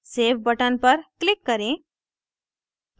save button पर click करें